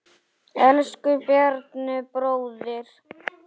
Elsku Bjarni bróðir.